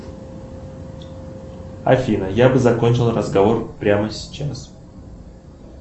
афина я бы закончил разговор прямо сейчас